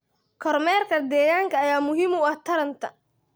Kormeerka deegaanka ayaa muhiim u ah taranta.